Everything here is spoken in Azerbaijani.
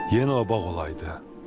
Yenə o bağ olaydı.